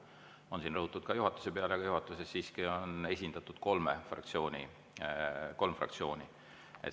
Siin on rõhutud ka juhatuse peale, aga juhatuses siiski on esindatud kolm fraktsiooni.